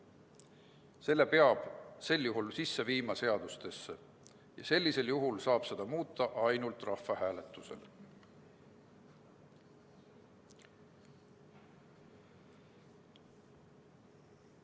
peab sel juhul seadusesse sisse viima ja seda saab muuta ainult rahvahääletusel.